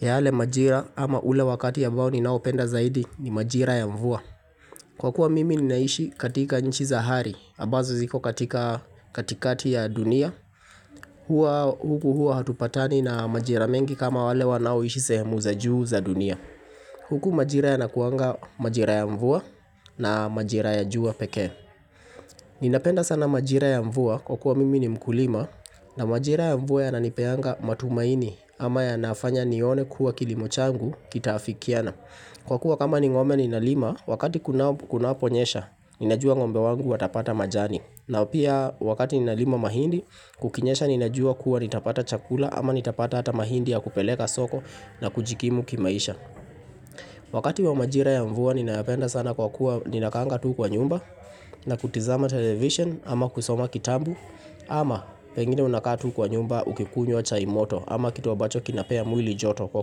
Yale majira ama ule wakati ya ambao ninaopenda zaidi ni majira ya mvua. Kwa kuwa mimi ninaishi katika nchi za hari, ambazo ziko katika katikati ya dunia. Huku hua hatupatani na majira mengi kama wale wanaoishi sehemu za juu za dunia. Huku majira yanakuanga majira ya mvua na majira ya jua wa pekee. Ninapenda sana majira ya mvua kwa kuwa mimi ni mkulima na majira ya mvua yananipeanga matumaini ama yanafanya nione kua kilimo changu kitaafikiana. Kwa kuwa kama ni ngome ninalima, wakati kunaponyesha, ninajua ngombe wangu watapata majani. Na pia wakati ninalima mahindi, kukinyesha ninajua kuwa nitapata chakula ama nitapata hata mahindi ya kupeleka soko na kujikimu kimaisha. Wakati wa majira ya mvua ninayapenda sana kwa kuwa ninakaanga tu kwa nyumba na kutizama television ama kusoma kitabu ama pengine unakaa kwa nyumba ukikunywa chai moto ama kitu ambacho kinapea mwili joto kwa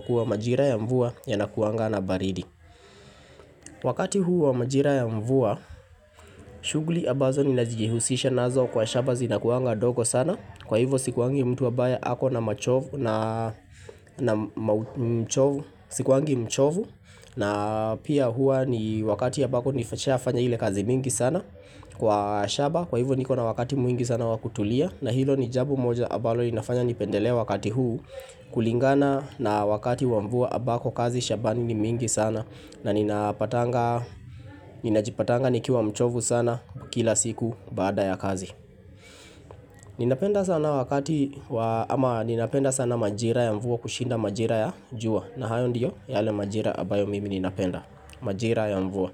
kuwa majira ya mvua yanakuanga na baridi Wakati huu wa majira ya mvua shughuli ambazo ninajihusisha nazo kwa shamba zinakuanga ndogo sana Kwa hivo sikuangi mtu ambaye ako na machovu Sikuangi mchovu na pia hua ni wakati ya ambako nishafanya ile kazi mingi sana Kwa shamba kwa hivo niko na wakati mwingi sana wakutulia na hilo ni jambo moja ambalo inafanya nipendelee wakati huu kulingana na wakati wa mvua ambako kazi shambani ni mingi sana na ninajipatanga nikiwa mchovu sana kila siku baada ya kazi Ninapenda sana wakati wa, ama ninapenda sana majira ya mvua kushinda majira ya jua na hayo ndiyo yale majira ambayo mimi ninapenda Majira ya mvua.